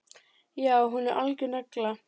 Já, hún er algjör negla.